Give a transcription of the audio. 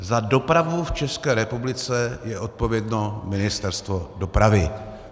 Za dopravu v České republice je odpovědné Ministerstvo dopravy.